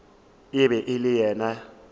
e be e le ye